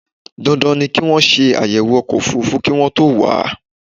Dandan ni kí wọ́n ṣe àyẹ̀wò ọkọ̀ òfúrúfú kí wọ́n tó wà á.